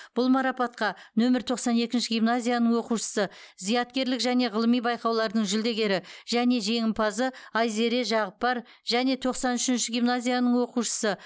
бұл марапатқа нөмірі тоқсан екінші гимназияның оқушысы зияткерлік және ғылыми байқаулардың жүлдегері және жеңімпазы айзере жағыпар және тоқсан үшінші гимназияның оқушысы